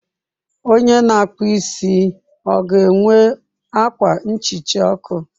Onye na-akpụ isi ọ ga-enwe akwa nhicha ọkụ?